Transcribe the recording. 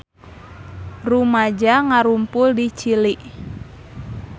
Rumaja ngarumpul di Chili